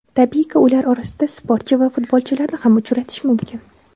Tabiiyki, ular orasida sportchi va futbolchilarni ham uchratish mumkin.